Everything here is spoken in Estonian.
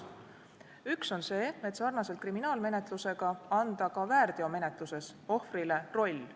Üks on selline: sarnaselt kriminaalmenetlusega anda ka väärteomenetluses ohvrile roll.